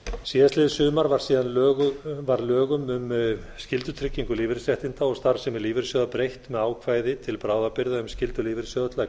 síðastliðið sumar var síðan lögum um skyldutryggingu lífeyrisréttinda og starfsemi lífeyrissjóða breytt með ákvæði til bráðabirgða um skyldu lífeyrissjóða til að